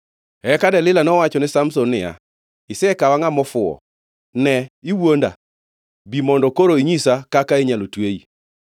Eka Delila nowachone Samson niya, “Isekawa ngʼama ofuwo; ne iwuonda. Bi mondo koro inyisa kaka inyalo tweyi.”